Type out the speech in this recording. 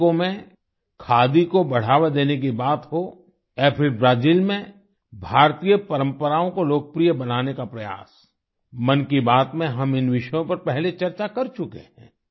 Mexico में खादी को बढ़ावा देने की बात हो या फिर ब्राजिल में भारतीय परम्पराओं को लोकप्रिय बनाने का प्रयास मन की बात में हम इन विषयों पर पहले चर्चा कर चुके हैं